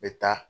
N bɛ taa